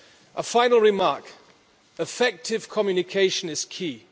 A final remark effective communication is key.